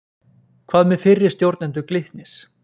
Hvað með fyrri stjórnendur Glitnis?